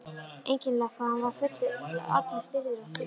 Einkennilegt hvað hann var allur stirður og þreyttur.